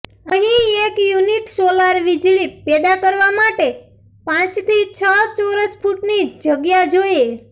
અહીં એક unit solar વીજળી પેદા કરવા માટે પાંચથી છ ચોરસ ફૂટની જ જગ્યા જોઇએ